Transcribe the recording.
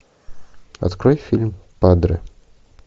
открой фильм падре